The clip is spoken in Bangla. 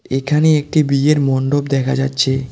এখানে একটি বিয়ের মন্ডপ দেখা যাচ্ছে।